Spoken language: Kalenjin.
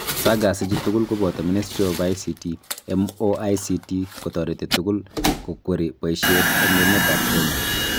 SAGAs ichu tugul koboto Ministry of ICT (MoICT) kotoreti tugul kokweri boisiet eng emetab Kenya